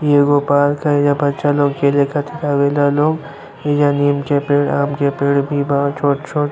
इ एगो पार्क है। एज्जा बच्चा लोग खेले खातिर आवे ला लोग। एइजा नीम के पेड़ आम के पेड़ भी बा छोट छोट।